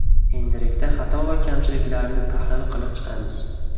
Endilikda xato va kamchiliklarni tahlil qilib chiqamiz.